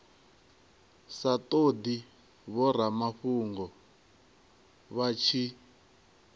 sa todi vhoramafhungo vha tshi